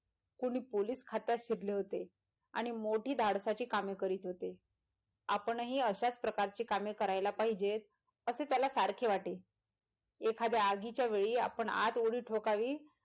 कोणी पोलीस खात्यात शिरले होते आणि मोठी धाडसाची कामे करीत होते आपणही अशाच प्रकारची कामे करायला पाहिजेत असे त्याला सारखे वाटे एखाद्या आगीच्या वेळीं आपण आत उडी ठोकावी.